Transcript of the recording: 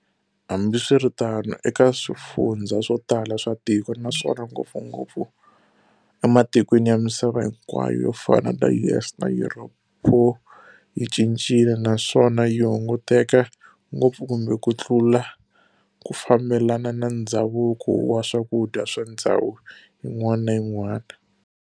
Hambiswiritano, eka swifundzha swotala swa tiko, naswona ngopfungopfu ematikweni ya misava hinkwayo yofana na US na Europe, pho yi cincile naswona yihunguteke ngopfu kumbe kutlula ku fambelana na ndzhavuko wa swakudya swa ndzhawu yin'wana na yin'wana.